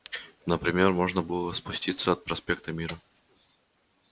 например можно было спуститься от проспекта мира